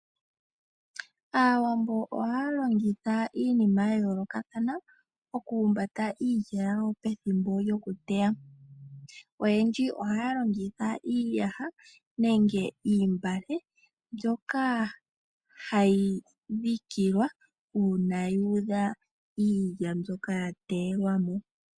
Aawambo ohaya longitha iinima yayoolokatha okuhumbata iilya yawo pethimbo lyokuteya. Oyendji ohaya longitha iiyaha nenge iimbale mbyoka hayi dhikilwa uuna yuudha iilya mbyoka yateyelwa mo.